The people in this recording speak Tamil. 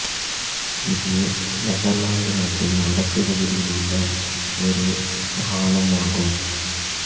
இது நெதர்லாந்து நாட்டின் வடக்கு பகுதியில் உள்ள ஒரு மாகாணம் ஆகும்